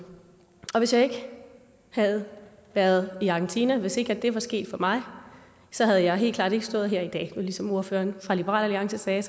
hvis jeg ikke havde været i argentina hvis ikke det var sket for mig havde jeg helt klart ikke stået her i dag var ligesom ordføreren fra liberal alliance sagde